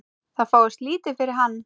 Það fáist lítið fyrir hann.